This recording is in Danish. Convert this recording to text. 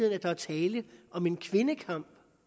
at der er tale om en kvindekamp